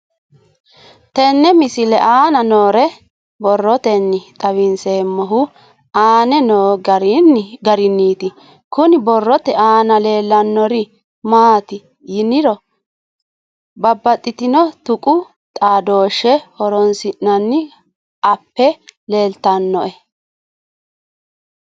Tenne misile aana noore borroteni xawiseemohu aane noo gariniiti. Kunni borrote aana leelanori maati yiniro babbaxino tuqu xaadoshe horonsinanni appe leeltanoe.